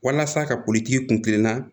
Walasa ka kulik'i kun kilenna